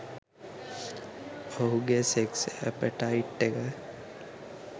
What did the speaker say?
ඔහුගෙ sex appetite එක